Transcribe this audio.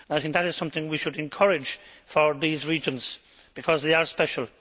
That is something we should encourage for these regions, because they are special.